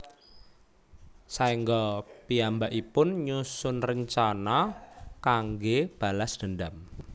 Saéngga piyambakipun nyusun rencana kanggé balas dendam